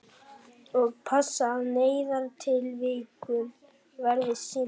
Og passa að neyðartilvikum verði sinnt